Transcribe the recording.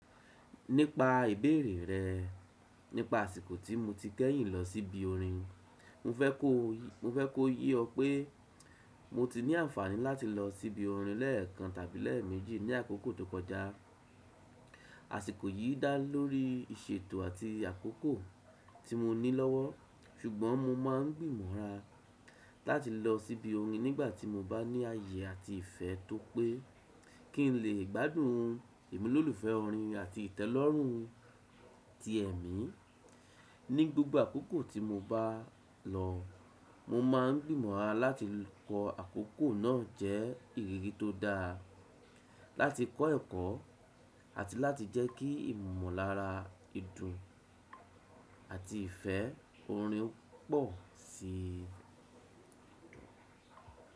Nípa ìbéèrè rẹ̀ nípa àsìkò tí mo ti kẹ́yìn lọ síbi orin, mo fẹ́ kó ye ọ pé mo ti ní àǹfààní láti lọ síbi orin lẹ́ẹ̀kan tàbí lẹ́ẹ̀mẹ́jì ní àkókò tó kọjá. Àsìkò yìí dá lórí ìṣètò àti àkókò tí mo ní lọ́wọ́, ṣùgbọ́n mo máa ń gbìmọ̀ra láti lọ síbi orin nígbà tí mo bá ní ààyè àti ìfẹ́ tó pé kí n lè gbádùn ìmúlòlùfẹ́ orin àti ìtẹ́lọ́rùn ti ẹ̀mí. Ní gbogbo àkókò tí mo bá lọ, mo máa ń gbìmọ̀ra láti kọ àkókò náà jẹ́ ìrírí tó dáa, láti kọ́ ẹ̀kọ́, àti láti jẹ́ kí ìmọ̀lára ìdun àti ìfẹ́ orin pọ̀ sí i.